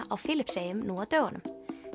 á Filippseyjum nú á dögunum